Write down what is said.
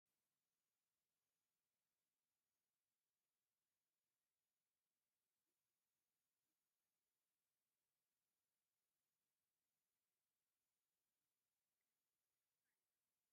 ናይ ዕንጨይቲ መቑረፂት ማሽን ትርአ ኣላ፡፡ እዛ ማሽን ንዕንጨይቲ ብቐሊሉ ትቆርፅ እያ፡፡ እዛ ማሽን ንስራሕቲ ምቑራፅ ዕንጨይቲ ቀሊል ገይራቶ ኣላ፡፡